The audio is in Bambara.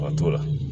A t'o la